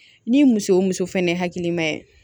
Ni muso fɛnɛ hakilima ye